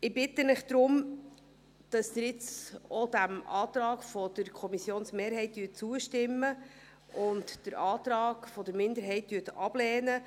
Ich bitte Sie deshalb, dass Sie nun diesem Antrag der Kommissionsmehrheit zustimmen und den Antrag der Minderheit ablehnen.